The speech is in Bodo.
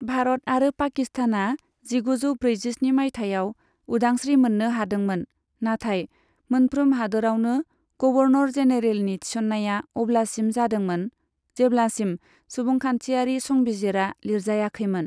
भारत आरो पाकिस्तानआ जिगुजौ ब्रैजिस्नि माइथायाव उदांस्री मोन्नो हादोंमोन, नाथाय मोन्फ्रोम हादोरावनो गबर्नर जेनेरेलनि थिसन्ननाया अब्लासिम जादोंमोन, जेब्लासिम सुबुंखान्थियारि संबिजिरा लिरजायाखैमोन।